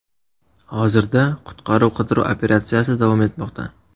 Hozirda qutqaruv-qidiruv operatsiyasi davom etmoqda.